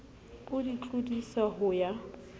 o di tlodisa ho ya